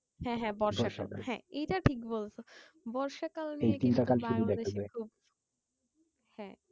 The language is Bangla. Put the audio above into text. হ্যাঁ হ্যাঁ বর্ষা কাল হ্যাঁ এইটা ঠিক বলছো। বর্ষাকালে হ্যাঁ